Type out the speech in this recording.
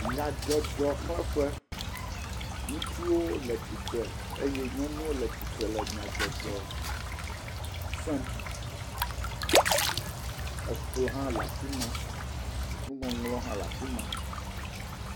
Nyadzɔdzɔxleƒe, ŋutsuwo le tsitre eye nyɔnuwo le tsitre le nyadzɔdzɔ sem, ekplɔ hã le afi ma, nuŋɔŋlɔ hã le afi ma.